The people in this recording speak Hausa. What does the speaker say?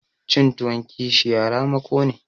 Cin tuwon kishiya ramako ne.